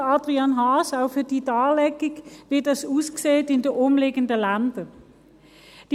Danke, Adrian Haas, für die Darlegung, wie das in den umliegenden Ländern aussieht.